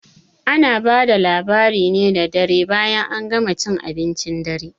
Ana bada labari ne da dare bayan an gama cin abincin dare